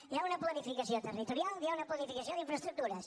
hi ha una planificació territorial hi ha una planificació d’infraestructures